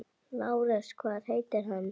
LÁRUS: Hvað heitir hann?